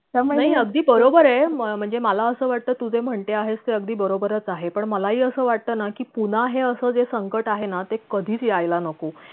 नाही अगदी बरोबरये म्हणजे मला अस वाटत तू जे म्हणते आहेस ते अगदी बरोबरच आहे पण मला हि अस वाटत ना कि तुला हे अस जे संकट आहे ना ते कधीच यायला नको